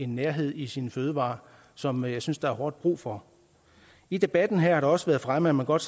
nærhed i sine fødevarer som jeg synes der er hårdt brug for i debatten her har det også været fremme at man godt